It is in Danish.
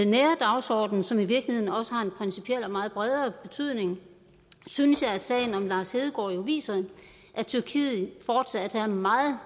nære dagsorden som i virkeligheden også har en principiel og meget bredere betydning synes jeg at sagen om lars hedegaard jo viser at tyrkiet fortsat er meget